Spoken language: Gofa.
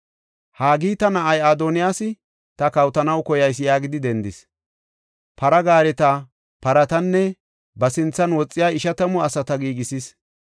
Haagita na7ay Adooni, “Ta kawotanaw koyayis” yaagidi dendis; para gaareta, paratanne ba sinthan woxiya ishatamu asata giigisis.